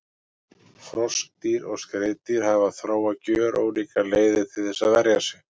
Froskdýr og skriðdýr hafa þróað gjörólíkar leiðir til þess að verja sig.